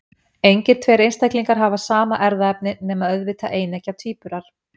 Engir tveir einstaklingar hafa sama erfðaefni, nema auðvitað eineggja tvíburar.